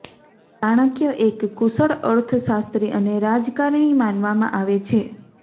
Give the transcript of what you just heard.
ચાણક્ય એક કુશળ અર્થશાસ્ત્રી અને રાજકારણી માનવામાં આવે છે